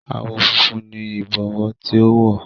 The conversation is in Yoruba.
Àwọ̀ funfun ni Ìbọwọ́ tí ó wọ̀